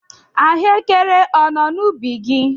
Ahụekere ọ nọ n'ubi gị?